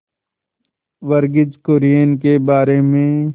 वर्गीज कुरियन के बारे में